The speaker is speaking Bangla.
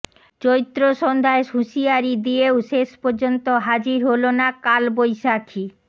চৈত্র সন্ধ্যায় হুঁশিয়ারি দিয়েও শেষ পর্যন্ত হাজির হল না কালবৈশাখী